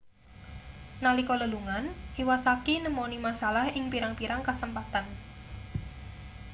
nalika lelungan iwasaki nemoni masalah ing pirang-pirang kasempatan